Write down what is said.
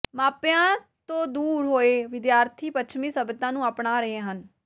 ਮਾਪਿਆਂ ਤੋਂ ਦੂਰ ਹੋਏ ਵਿਦਿਆਰਥੀ ਪੱਛਮੀ ਸੱਭਿਅਤਾ ਨੂੰ ਅਪਣਾ ਰਹੇ ਹਨ